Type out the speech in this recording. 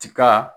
Tiga